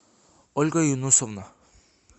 ольга юнусовна